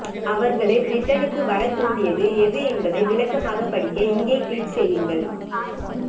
அவர்களை பிரிட்டனுக்கு வரத் தூண்டியது எது என்பதை விளக்கமாக படிக்க இங்கே கிளிக் செய்யுங்கள்